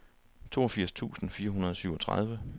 toogfirs tusind fire hundrede og syvogtredive